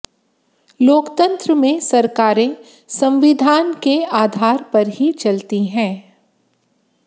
लोकतंत्र में सरकारें संविधान के आधार पर ही चलती है